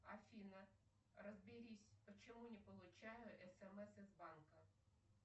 афина разберись почему не получаю смс из банка